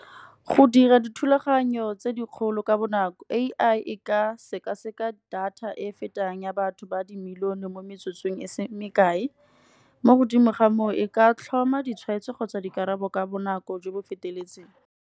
Go dira dithulaganyo tse dikgolo ka bonako A_I e ka sekaseka data e e fetang ya batho ba dimilione, mo metsotsong e se me kae. Mo godimo ga moo e ka tlhoma ditshwaetso, kgotsa dikarabo ka bonako jo bo feteletseng.